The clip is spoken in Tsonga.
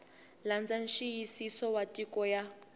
landza nxiyisiso wa nyiko ya